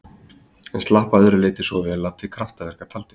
En slapp að öðru leyti svo vel að til kraftaverka taldist.